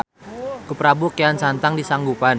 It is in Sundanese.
Ku prabu kean santang di sanggupan.